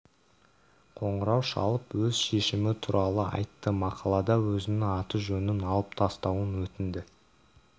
қоңырау шалып өз шешімі туралы айтты мақалада өзінің аты-жөнін алып тастауын өтінді